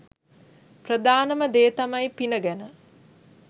ප්‍රධානම දේ තමයි පින ගැන